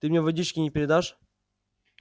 ты мне водички не передашь